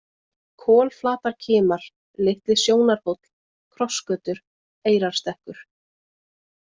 Kolflatarkimar, Litli-Sjónarhóll, Krossgötur, Eyrarstekkur